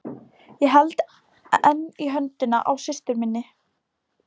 Ég held enn í höndina á systur minni.